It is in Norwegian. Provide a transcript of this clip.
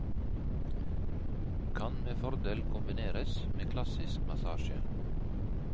Kan med fordel kombineres med klassisk massasje.